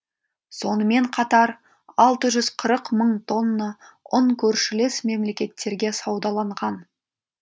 сонымен қатар алты жүз қырық мың тонна ұн көршілес мемлекеттерге саудаланған